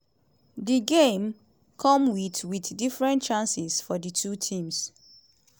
di game come wit wit different chances for di two teams.